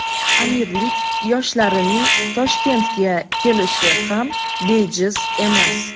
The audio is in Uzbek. Amirlik yoshlarining Toshkentga kelishi ham bejiz emas.